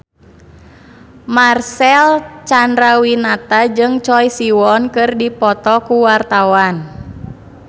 Marcel Chandrawinata jeung Choi Siwon keur dipoto ku wartawan